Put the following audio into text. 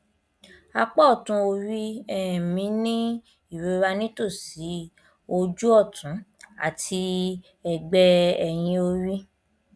apá ọtún orí um mi ń ní ìrora nítòsí ojú ọtún àti ẹgbẹ ẹyìn orí